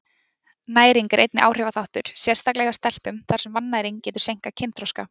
Næring er einnig áhrifaþáttur, sérstaklega hjá stelpum, þar sem vannæring getur seinkað kynþroska.